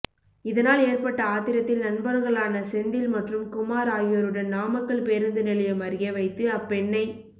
இதனால் ஏற்பட்ட ஆத்திரத்தில் நண்பர்களான செந்தில் மற்றும் குமார் ஆகியோருடன் நாமக்கல் பேருந்து நிலையம் அருகே வைத்து அப்பெண்ணை